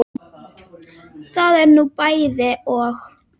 Það er nú bæði og.